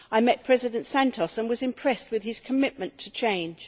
I met President Santos and was impressed with his commitment to change.